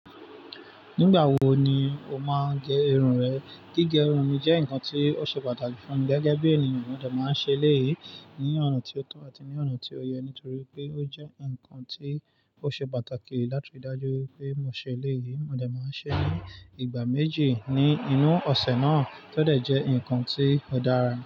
Nígbà wo ni o máa gé irun rẹ? Gígé irun mi jẹ́ nǹkan tí ó ṣe pàtàkì fún mi gẹ́gẹ́ bí ènìyàn, mo dà máa ń ṣe léyìí ní ọ̀nà tí ó tún àti ní ọ̀nà tí ó yẹ nítorí pé ó jẹ́ ǹkan tí ó ṣe pàtàkì láti rí i dájú pé mo ṣe léyìí. Mo dà máa ń ṣe é ní ìgbà méjì ní inú ọ̀sẹ̀ náà tó dẹ jẹ́ ǹkan tí ó dára.